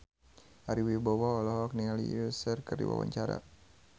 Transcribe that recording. Ari Wibowo olohok ningali Usher keur diwawancara